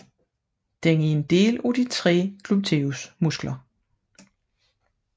Den er en del af de tre Gluteusmuskler